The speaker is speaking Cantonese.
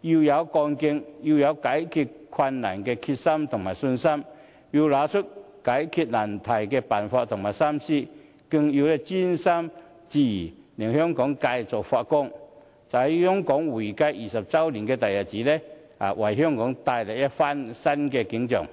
要有幹勁，要有解決困難的決心和信心，更要拿出解決難題的辦法和心思，更要專心致志，令香港繼續發光，在香港回歸20周年的大日子，為香港帶來一番新的景象。